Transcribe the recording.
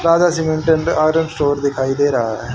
Aryan store दिखाई दे रहा है।